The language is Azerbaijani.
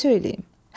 Nə söyləyim?